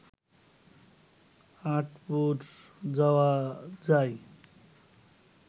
আঁটপুর যাওয়া যায়